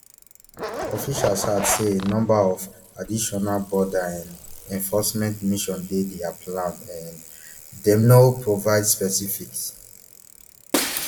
officials add say a number of additional border um enforcement missions dey dia plan um dem no provide specifics